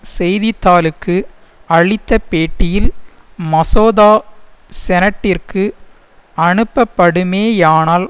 செய்திதாளுக்கு அளித்த பேட்டியில் மசோதா செனட்டிற்கு அனுப்பப்படுமேயானால்